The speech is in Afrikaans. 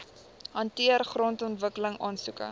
hanteer grondontwikkeling aansoeke